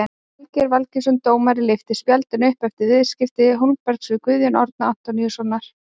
Valgeir Valgeirsson dómari lyfti spjaldinu upp eftir viðskipti Hólmberts við Guðjón Árna Antoníusson.